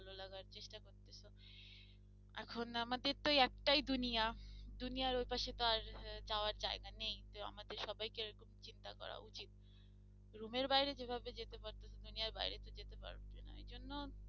এখন আমাদের তো একটাই দুনিয়া, দুনিয়ার ওই পাশে তো আর যাওয়ার জায়গা নেই তো আমাদের সবাইকে চিন্তা করা উচিত room বাইরে যেভাবে যেতে পারছো দুনিয়া বাইরে তো যেতে পারবে না ঐজন্য